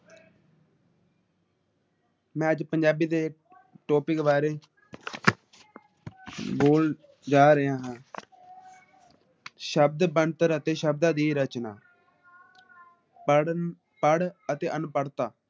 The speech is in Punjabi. ਮੈ ਅੱਜ ਪੰਜਾਬੀ ਦੇ ਟੌਪਿਕ ਬਾਰੇ ਬੋਲ ਜਾ ਰਿਹਾ ਹਾਂ। ਸ਼ਬਦ ਬਣਤਰ ਅਤੇ ਸ਼ਬਦਾਂ ਦੀ ਰਚਨਾ ਪੜਣ ਪੜ ਅਤੇ ਅਨਪੜਤਾ